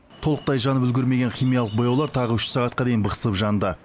толықтай жанып үлгермеген химиялық бояулар тағы үш сағатқа дейін бықсып жанды